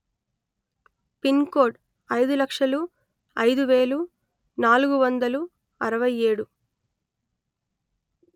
pin code అయిదు లక్షలు అయిదు వేలు నాలుగు వందలు అరవై ఏడు